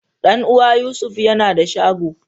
Dan uwa Yusuf yana da shago.